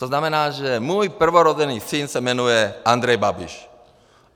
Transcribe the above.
To znamená, že můj prvorozený syn se jmenuje Andrej Babiš.